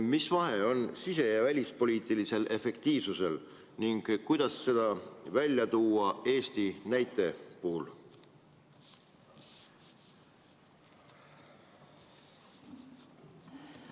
Mis vahe on sise- ja välispoliitilisel efektiivsusel ning kuidas seda välja tuua Eesti näite puhul?